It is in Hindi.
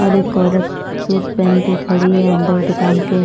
और एक औरत सूट पहन के खड़ी है अंदर दुकान के--